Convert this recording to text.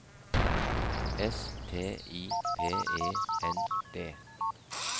S T I P E N D